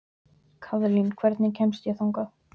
Kaðlín, hvernig kemst ég þangað?